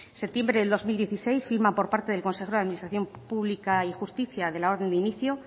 septiembre de dos mil dieciséis firma por parte del consejero de administración pública y justicia de la orden